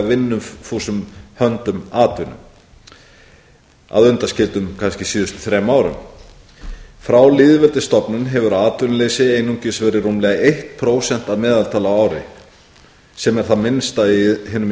vinnufúsum höndum atvinnu að undanskildum kannski síðustu þremur árum frá lýðveldisstofnun hefur atvinnuleysi einungis verið rúmlega eitt prósent að meðaltali á ári sem er það minnsta í hinum